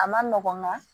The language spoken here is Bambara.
A ma nɔgɔn nka